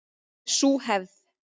Sú hefð